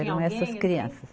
Eram essas crianças.